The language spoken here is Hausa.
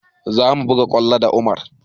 Za mu buga kwallo da Umar